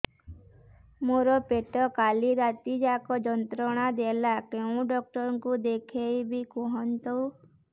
ମୋର ପେଟ କାଲି ରାତି ଯାକ ଯନ୍ତ୍ରଣା ଦେଲା କେଉଁ ଡକ୍ଟର ଙ୍କୁ ଦେଖାଇବି କୁହନ୍ତ